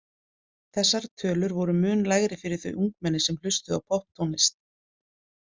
Þessar tölur voru mun lægri fyrir þau ungmenni sem hlustuðu á popptónlist.